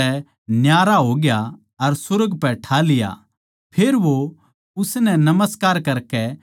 फेर वो उसनै नमस्कार करके बड़ी खुशी तै यरुशलेम चले गये